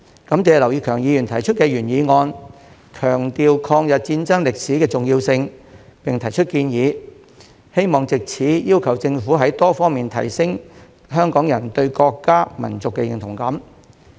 感謝劉業強議員提出原議案，強調抗日戰爭歷史的重要性，並提出建議，希望藉此要求政府在多方面提升香港人對國家、民族的認同感。